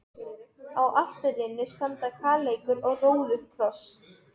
Á altarinu standa kaleikur og róðukross.